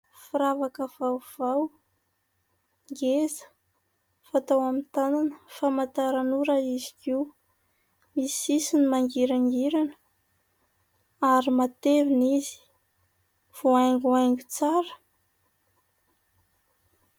Firavaka vaovao, ngeza, fatao amin'ny tanana. Famantaran'ora izy io. Misy sisiny mangirangirana ary matevina izy. Voahaingohaingo tsara.